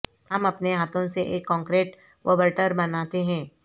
ہم اپنے ہاتھوں سے ایک کنکریٹ وبرٹر بناتے ہیں